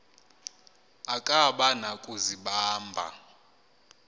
akaba na kuzibamba